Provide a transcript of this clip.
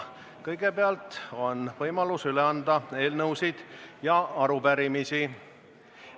Kõigepealt on võimalus üle anda eelnõusid ja arupärimisi.